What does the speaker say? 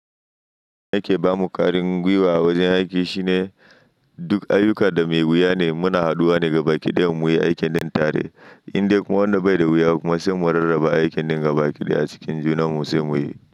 Abinda yake bamu karin gwiwa a wajen aiki shine duk ayyuka da mai wuya ne muna haduwa ne da baƙi don muyi aikin ɗin tare, indai kuma wannan bai da wuya kuma sai mu rarraba aikin ɗin ga baƙi a cikin juna mu sai muyi.